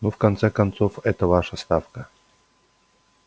ну в конце концов эта ваша ставка